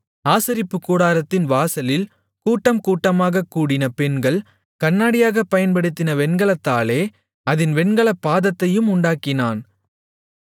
ஆசரிப்புக்கூடாரத்தின் வாசலில் கூட்டம் கூட்டமாகக் கூடின பெண்கள் கண்ணாடியாக பயன்படுத்தின வெண்கலத்தாலே வெண்கலத் தொட்டியையும் அதின் வெண்கலப் பாதத்தையும் உண்டாக்கினான்